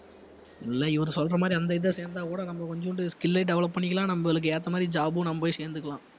இல்ல இவரு சொல்ற மாதிரி அந்த இது இத சேர்ந்தால் கூட நம்ம கொஞ்சூண்டு skill ஐ develop பண்ணிக்கலாம் நம்மளுக்கு ஏத்த மாதிரி job உம் நம்ம போய் சேர்ந்துக்கலாம்